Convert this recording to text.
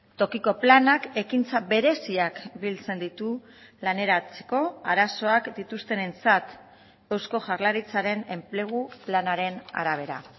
tokiko planak ekintza bereziak biltzen ditu laneratzeko arazoak dituztenentzat eusko jaurlaritzaren enplegu planaren arabera